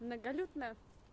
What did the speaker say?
многолюдно